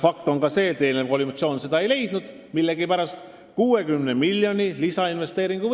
Fakt on ka see, et eelnev koalitsioon seda millegipärast ei leidnud.